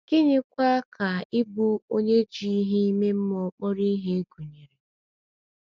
Gịnịkwa ka ịbụ onye ji ihe ime mmụọ kpọrọ ihe gụnyere? ’